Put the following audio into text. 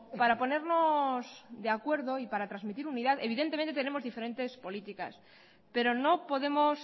para ponernos de acuerdo y para transmitir unidad evidentemente tenemos diferentes políticas pero no podemos